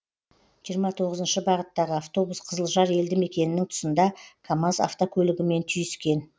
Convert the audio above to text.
жиырма тоғызыншы бағыттағы автобус қызылжар елді мекенінің тұсында камаз автокөлігімен түйіскен